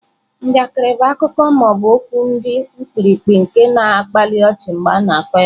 Njakịrị bụ akụkọ ma ọ bụ okwu dị mkpirikpi nke na-akpali ọchị mgbe a na-akọ ya.